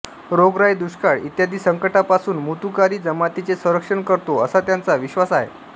रोगराई दुष्काळ इ संकटांपासून मुतुकारी जमातीचे संरक्षण करतो असा त्यांचा विश्वास आहे